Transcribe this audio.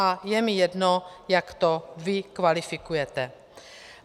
A je mi jedno, jak to vy kvalifikujete.